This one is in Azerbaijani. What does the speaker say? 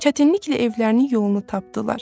Çətinliklə evlərinin yolunu tapdılar.